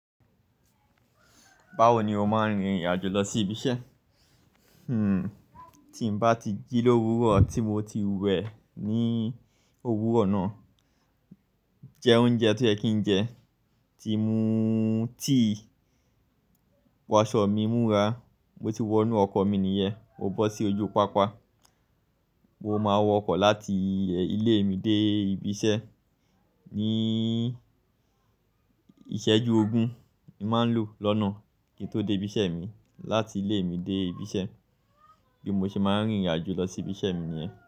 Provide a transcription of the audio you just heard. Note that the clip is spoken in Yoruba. Báwo ni o máa ń rìnrìn àjò lọ sí ibi iṣẹ́? Hmm, tí n bá ti jí l'òwúrọ̀ tí mo ti wẹ̀ ní òwúrọ̀ náà, jẹ oúnjẹ to yẹ kì ń jẹ, tí mú tea, wo aṣọ mi, múra, mo ti wọnú ọkọ̀ mi nìyẹn, mó bọ́ sí ojú pápá. Mo máa wọ ọkọ̀ láti ilé mi dé ibi iṣẹ́. Ní ìṣẹ́jú ogún, n màá n lò lọ́nà kí n tó dé ibi iṣẹ́ mi láti ilé mi dé ibi iṣẹ́. Bí mo ṣe máa ń rìnrìn àjò lọ síbi iṣẹ́ mi nìyẹn.